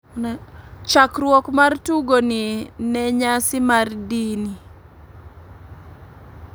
Chakruok mar tugo ni ne nyasi mar dini